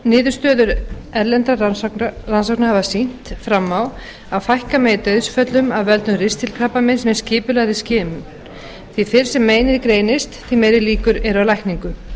niðurstöður erlendra rannsókna hafa sýnt fram á að fækka megi dauðsföllum af völdum ristilkrabbameins með skipulagðri skimun því fyrr sem meinið greinist því meiri líkur eru á lækningu